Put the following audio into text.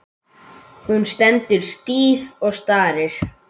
Hún stendur stíf og starir.